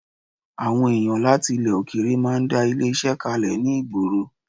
Àwọn èyàn láti ilẹ̀ òkèèrè máa ń dá ilé-iṣẹ́ kalẹ̀ ní ìgboro